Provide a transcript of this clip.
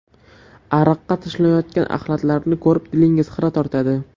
Ariqqa tashlanayotgan axlatlarni ko‘rib dilingiz xira tortadi.